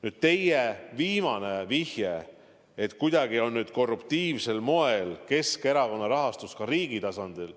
Nüüd teie viimane vihje, et kuidagi on korruptiivsel moel Keskerakonda rahastatud ka riigi tasandil.